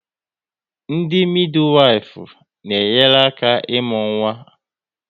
Ndị midiwifu na enyere aka n'imu nwa